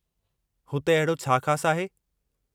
हुते अहिड़ो छा ख़ासि आहे?